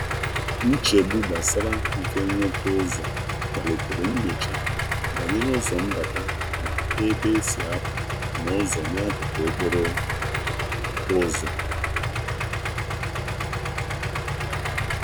Nchegbu gbasara um mfe nweta ụzọ kpalitere nnyocha banyere ụzọ mbata ma ebe e si um a pụ na ụzọ n'akụkụ okporo ụzọ. um